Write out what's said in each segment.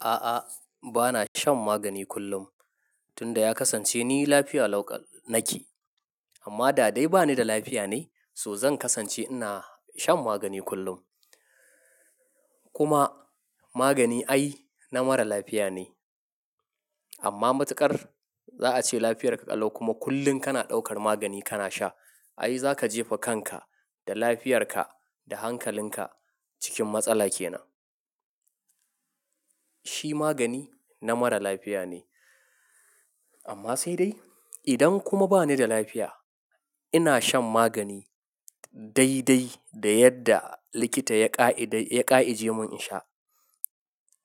A'a, ba na shan magani kullum. Tun da ya kasance ni lafiya lauƙal nake. Amma da dai ba ni da lafiya ne, so zan kasance ina shan magani kullum. Kuma magani ai na mara lafiya ne. Amma matuƙar za a ce lafiyar ka ƙalau kuma kullum kana ɗaukar magani kana sha, ai za ka jefa kanka da lafiyarka da hankalinka cikin matsala ke nan. Shi magani na mara lafiya ne. Amma sai dai, idan kuma ba ni da lafiya, ina shan magani dai dai da yadda likita ya ƙa'i, ya ƙa'ije mun in sha.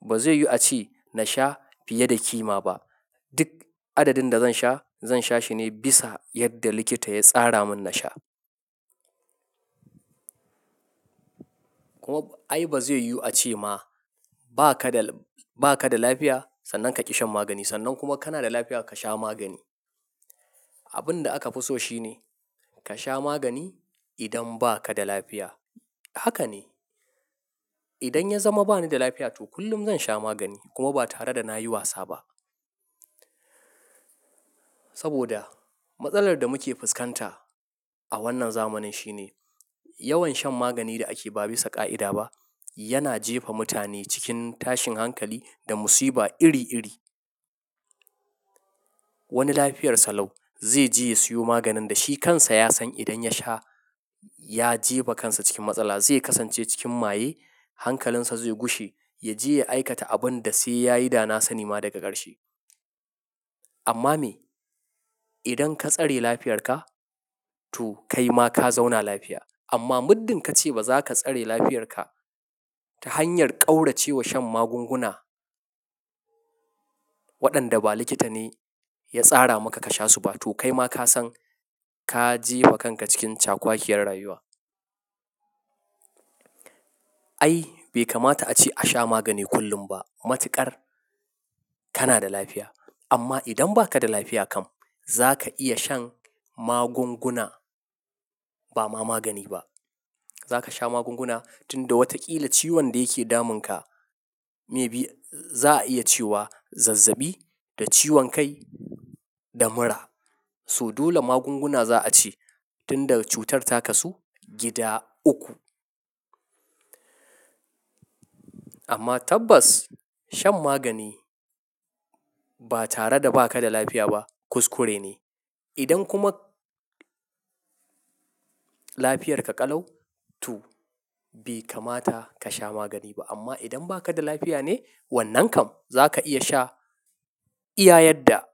Ba zai yiwu a ce na sha fiye da kima ba. Duk adadin da zan sha, zan sha shi ne bisa yadda likita ya tsara mun na sha. Kuma ai ba zai yu a ce ma ba ka da, ba ka da lafiya sannan ka ƙi shan magani, sannan kuma kana da lafiya ka sha magani. Abun da aka fi so shi ne ka sha magani idan ba ka da lafiya. Haka ne. Idan ya zama ba ni da lafiya tu kullum zan sha magani kuma ba tare da na yi wasa ba. Saboda matsalar da muke fuskanta a wannan zamanin shi ne yawan shan magani da ake ba bisa ƙa'ida ba yana jefa mutane cikin tashin hankali da musiba iri iri. Wani lafiyarsa lau zai je ya siyo maganin da shi kansa ya san idan ya sha ya jefa kansa cikin matsala, zai kasance cikin maye hankalinsa zai gushi, ya je ya aikata abun da sai ya yi dana sa ni ma daga ƙarshe. Amma me, idan ka tsare lafiyarka to kai ma ka zauna lafiya. Amma muddin ka ce ba za ka tsare lafiyarka ta hanyar ƙaurace wa shan magunguna waɗanda ba likita ne ya tsara maka ka sha su ba tou kai ma ka san ka jefa kanka cikin cakwakiyar rayuwa. Ai bai kamata a ce a sha magani kullum ba. Matuƙar kana da lafiya. Amma idan ba ka da lafiya kam, za ka iya shan magunguna, ba ma magani ba. Za ka sha magunguna tun da wataƙila ciwon da yake damunka, mai bi za a iya cewa zazzabi da ciwon kai da mura. So dole magunguna za a ce tun da cutar takasu gida uku. Amma tabbas shan magani ba tare da ba ka da lafiya ba kuskure ne. Idan kuma lafiyarka ƙalau tu bai kamata ka sha magani ba. Amma idan ba ka da lafiya ne wannan kam, za ka iya sha iya yadda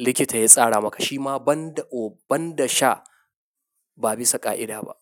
likita ya tsara maka. Shi ma banda, oh banda sha ba bisa ƙa'ida ba.